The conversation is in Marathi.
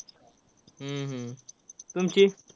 हम्म हम्म तुमची?